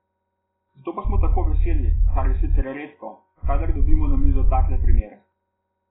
Zato smo pa tako veseli, kar je sicer redko, kadar dobimo na mizo takle primer.